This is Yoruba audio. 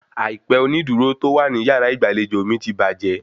Àìpẹ onídùúró tó wà ní yàrá ìgbàlejò mi ti bàjẹ́